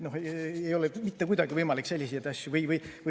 Ei ole mitte kuidagi võimalik selliseid asju.